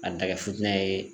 A kɛ futɛni ye.